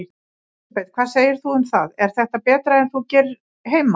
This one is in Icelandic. Elísabet: Hvað segir þú um það, er þetta betra en þú gerir heima?